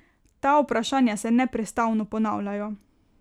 Ta vprašanja se neprestano ponavljajo.